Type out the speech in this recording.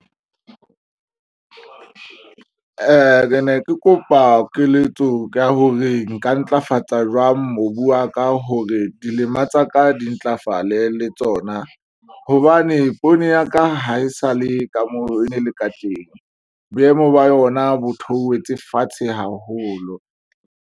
Ne ke kopa keletso ya hore nka ntlafatsa jwang mobu wa ka hore dilema tsaka di ntlafale le tsona, hobane poone ya ka ha e sale ka moo e ne le ka teng. Boemo ba yona bo theohetse fatshe haholo.